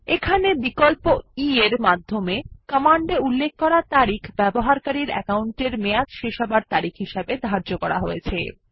এখানে বিকল্প e এর সাহায্য কমান্ডে উল্লেখ করা তারিখ ব্যবহারকারীর অ্যাকাউন্টের মেয়াদ শেষ হওয়ার তারিখ হিসাবে ধার্য করা হয়েছে